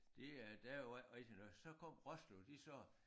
De øh der jo ikke rigtig noget så kom Roslev de sagde